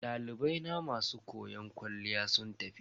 Dalibai na masu koyon kwalliya sun tafi.